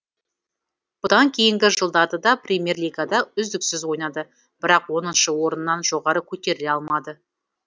бұдан кейінгі жылдары да премьер лигада үздіксіз ойнады бірақ оныншы орыннан жоғары көтеріле алмады